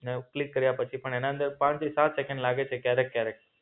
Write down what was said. ને ક્લિક કર્યા પછી પણ એના અંદર પાંચથી સાત સેકન્ડ લાગે છે ક્યારેક ક્યારેક